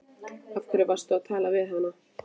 Af hverju varstu að tala við hana?